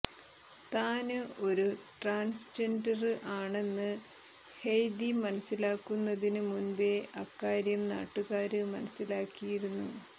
താന് ഒരു ട്രാന്സ്ജെന്ഡര് ആണെന്ന് ഹെയ്ദി മനസിലാക്കുന്നതിന് മുമ്പേ അക്കാര്യം നാട്ടുകാര് മനസിലാക്കിയിരുന്നു